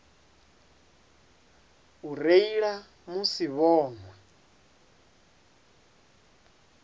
u reila musi vho nwa